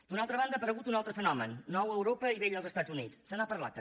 d’una altra banda ha aparegut un altre fenomen nou a europa i vell als estats units se n’ha parlat també